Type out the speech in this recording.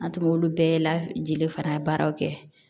An tun b'olu bɛɛ lajeli fana baaraw kɛ